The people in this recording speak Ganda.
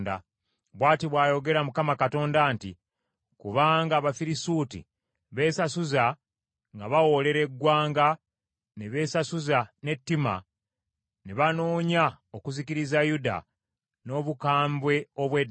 “Bw’ati bw’ayogera Mukama Katonda nti, ‘Kubanga Abafirisuuti beesasuza nga bawoolera eggwanga ne beesasuza n’ettima, ne banoonya okuzikiriza Yuda, n’obukambwe obw’edda,